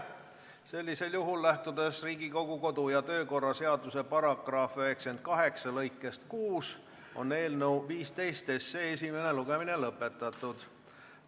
Sellisel juhul, lähtudes Riigikogu kodu- ja töökorra seaduse § 98 lõikest 6 on eelnõu 15 esimene lugemine lõppenud.